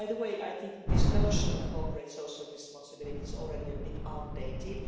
And by the way, I think this notion of corporate social responsibility is already a bit outdated.